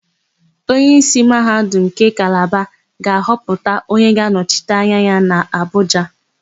Onyeísí Mahadum nke Kalaba ga-ahọpụta onye ga-anọchite ya n'Abụja.